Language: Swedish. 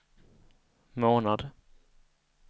månad